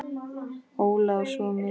Óla og svo mig.